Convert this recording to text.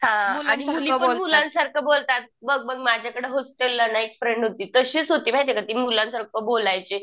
हां आणि मुली पण मुलांसारखं बोलतात. बघ बघ माझ्याकडं हॉस्टेलला ना एक फ्रेंड होती. तशीच होती माहिती का ती मुलांसारखं बोलायची.